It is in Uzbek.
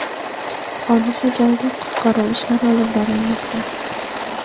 Hodisa joyida qutqaruv ishlari olib borilmoqda.